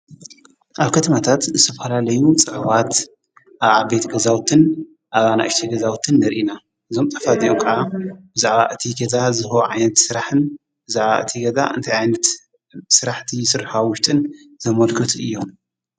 ኣብ ከትማታት ሰፍሃላለዩ ጸዕዋት ኣዓቤት ገዛውትን ኣብና እሽቲ ገዛውትን ንርኢና እዞም ጠፍ ዘኡቃ ብዛዕባ እቲ ገዛ ዝሁ ዓነት ሠራሕን ብዝዕባ እቲ ገዛ እንተ ዓይነት ሥራሕቲ ሥርሃዊሽትን ዘመልክቱ እዮም።